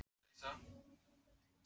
Prófin í Versló byrja á mánudaginn.